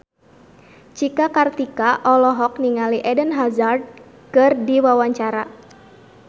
Cika Kartika olohok ningali Eden Hazard keur diwawancara